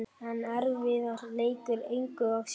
En erfiður leikur, engu að síður.